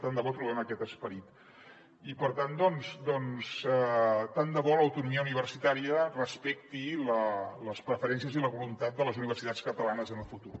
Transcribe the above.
tant de bo trobem aquest esperit i per tant doncs tant de bo l’autonomia universitària respecti les preferències i la voluntat de les universitats catalanes en el futur